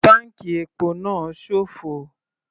Táǹkì epo náà sófo.